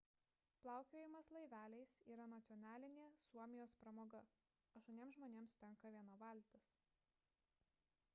plaukiojimas laiveliais yra nacionalinė suomijos pramoga – aštuoniems žmonėms tenka viena valtis